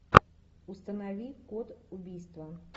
установи код убийства